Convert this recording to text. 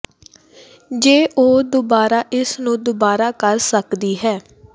ਜੇ ਉਹ ਦੁਬਾਰਾ ਇਸ ਨੂੰ ਦੁਬਾਰਾ ਕਰ ਸਕਦੀ ਹੈ